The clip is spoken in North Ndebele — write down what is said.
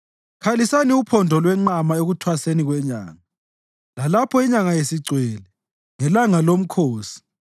Khalisani uphondo lwenqama ekuThwaseni kweNyanga, lalapho inyanga isigcwele, ngelanga lomkhosi;